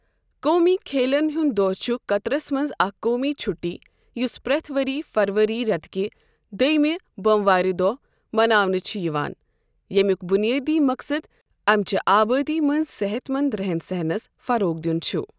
قومی کھیلَن ہُنٛد دۄہ چھُ قطرَس منٛز اکھ قومی چھُٹی یُس پرٚٮ۪تھ ؤرۍ فروری رٮ۪تکہِ دٔیمہِ بۄموارِ دۄہ مناونہٕ چھُ یِوان، ییٚمیُک بُنیٲدی مقصد اَمچہِ آبٲدی منٛز صحت مند رَہن سہَن نَس فروغ دِیُن چھُ۔